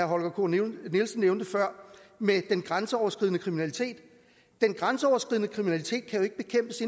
holger k nielsen nævnte før med den grænseoverskridende kriminalitet den grænseoverskridende kriminalitet kan jo ikke bekæmpes